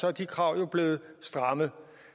er de krav jo blevet strammet